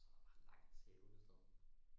Så er der bare langt til Hundested